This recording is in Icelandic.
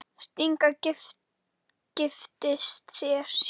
Stína giftist sér.